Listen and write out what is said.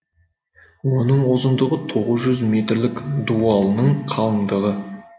оның ұзындығы тоғыз жүз метрлік дуалының қалыңдығы